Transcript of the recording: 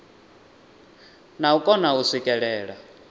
na u kona u swikelela